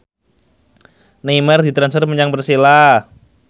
Neymar ditransfer menyang Persela